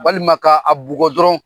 Walima ka a bugɔ dɔrɔn.